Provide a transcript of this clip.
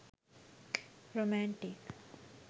romantic